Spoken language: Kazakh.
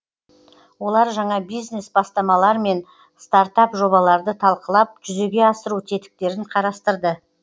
олар жаңа бизнес бастамалар мен стартап жобаларды талқылап жүзеге асыру тетіктерін қарастырды